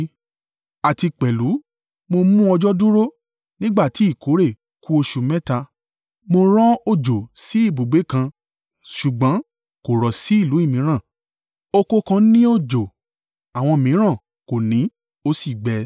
“Àti pẹ̀lú mo mú òjò dúró nígbà tí ìkórè ku oṣù mẹ́ta. Mo rán òjò sí ibùgbé kan ṣùgbọ́n kò rọ̀ sí ìlú mìíràn. Oko kan ní òjò; àwọn mìíràn kò ní ó sì gbẹ.